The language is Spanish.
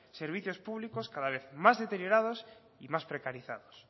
servicios públicos cada vez más deteriorados y más precarizados